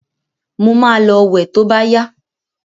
Mo ma lọ wẹ̀ to bá yá.